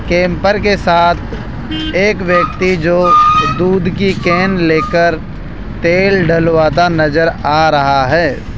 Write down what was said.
Camper के साथ एक व्यक्ति जो दूध की केन लेकर तेल डलवाता नज़र आ रहा है।